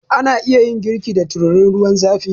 Ana iya yin girki da tururin ruwan zafi